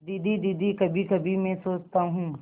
दीदी दीदी कभीकभी मैं सोचता हूँ